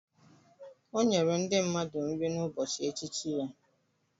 O nyere ndị mmadụ nri n'ụbọchị echichi ya?